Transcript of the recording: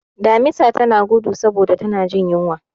Damisa tana gudu saboda tana jin yunwa.